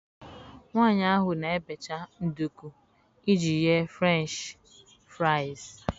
Nwanyị ahụ na-ebecha nduku iji ghee Frenchị fraịs.